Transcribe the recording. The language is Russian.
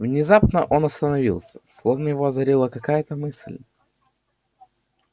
внезапно он остановился словно его озарила какая-то мысль